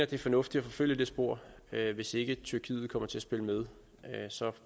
det er fornuftigt at forfølge det spor hvis ikke tyrkiet kommer til at spille med